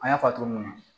An y'a fɔ a cogo mun na